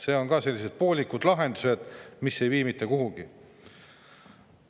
Need on sellised poolikud lahendused, mis ei vii mitte kuhugi.